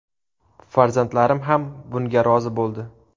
Farzandlarim ham bunga rozi bo‘ldi.